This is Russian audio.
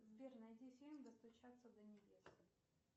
сбер найди фильм достучаться до небес